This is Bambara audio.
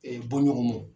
bɔɲɔgɔn